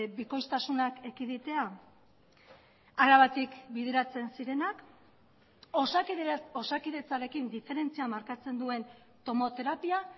bikoiztasunak ekiditea arabatik bideratzen zirenak osakidetzarekin diferentzia markatzen duen tomoterapia